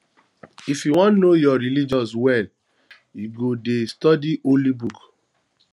if you wan know your religion well you go det study holy book